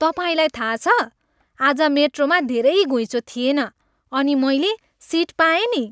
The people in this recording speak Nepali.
तपाईँलाई थाहा छ? आज मेट्रोमा धेरै घुइँचो थिएन अनि मैले सिट पाएँ नि।